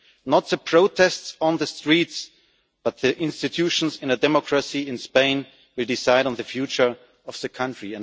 Not the protests on the streets, but the institutions in a democracy in Spain, will decide on the future of the country.